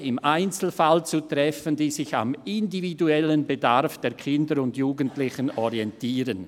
Entscheide im Einzelfall zu treffen, die sich am individuellen Bedarf der Kinder und Jugendlichen orientieren».